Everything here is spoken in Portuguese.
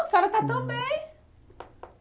A senhora está tão bem!